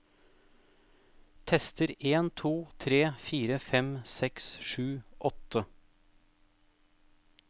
Tester en to tre fire fem seks sju åtte